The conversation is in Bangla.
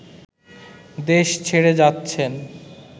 দেশ ছেড়ে যাচ্ছেন